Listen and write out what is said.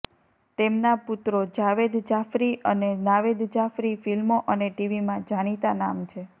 તેમના પુત્રો જાવેદ જાફ્રી અને નાવેદ જાફ્રી ફિલ્મો અને ટીવીમાં જાણીતાં નામ છે